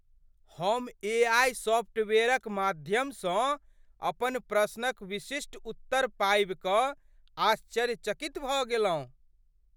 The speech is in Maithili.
हम एआई सॉफ्टवेयरक माध्यमसँ अपन प्रश्नक विशिष्ट उत्तर पाबि कऽ आश्चर्यचकित भऽ गेलहुँ।